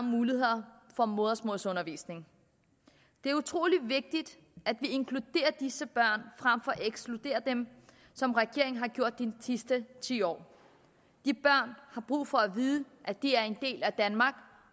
muligheder for modersmålsundervisning det er utrolig vigtigt at vi inkluderer disse børn frem for at ekskludere dem som regeringen har gjort de sidste ti år de børn har brug for at vide at de er en del af danmark